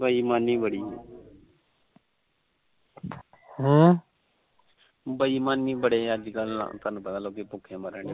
ਬੇਈਮਾਨੀ ਬੜੀ ਅੱਜ ਕੱਲ ਥੋਨੂੰ ਪਤਾ ਲੋਕੀ ਭੂਖੇ ਮਰਨ ਡੇ